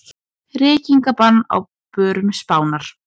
Reykingabann á börum Spánar